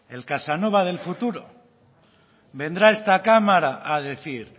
el casanova del futuro vendrá a esta cámara a decir